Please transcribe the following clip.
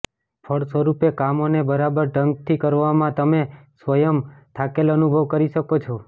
ફળસ્વરૂપે કામો ને બરાબર ઢંગ થી કરવામાં તમે સ્વયં ને થાકેલ અનુભવ કરી શકો છો